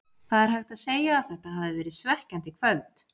Það er hægt að segja að þetta hafi verið svekkjandi kvöld.